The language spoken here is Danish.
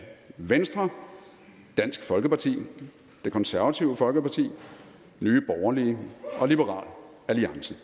venstre dansk folkeparti det konservative folkeparti nye borgerlige og liberal alliance